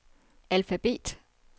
alfabet